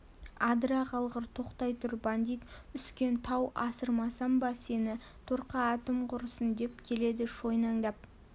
адыра қалғыр тоқтай тұр бандит үскен тау асырмасам ба сені торқа атым құрысын деп келеді шойнаңдап